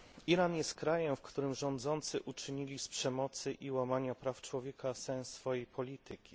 Iran jest krajem, w którym rządzący uczynili z przemocy i łamania praw człowieka sens swojej polityki.